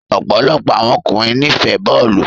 Ọpọlọpọ awọn ọkunrin nifẹ bọọlu